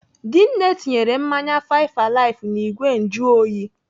Dinne tinyere mmanya five alive n'igwe njuoyi.